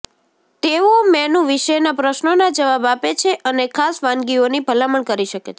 તેઓ મેનૂ વિશેના પ્રશ્નોના જવાબ આપે છે અને ખાસ વાનગીઓની ભલામણ કરી શકે છે